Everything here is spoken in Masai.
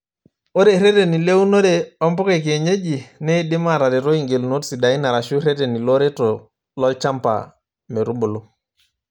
Ore ireteni leunore oo mpuka ekienyeji neidim ataretooi ingelunot sidain arashu ireteni looreto olchamba metubulu.